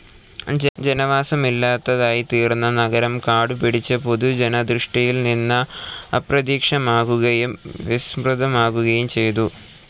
ജനവാസമില്ലാതായിത്തീർന്ന നഗരം കാടുപിടിച്ച്, പൊതുജനദൃഷ്ടിയിൽനിന്ന് അപ്രത്യക്ഷമാകുകയും വിസ്മൃതമാകുകയും ചെയ്തു.